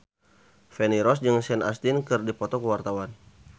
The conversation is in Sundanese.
Feni Rose jeung Sean Astin keur dipoto ku wartawan